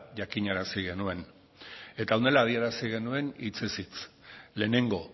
jakinarazi genuen eta honela adierazi genuen hitzez hitz lehenengo